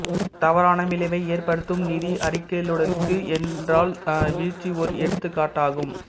தவறான விளைவை ஏற்படுத்தும் நிதி அறிக்கையிடலுக்கு என்ரால் வீழ்ச்சி ஓர் எடுத்துக்காட்டாகும்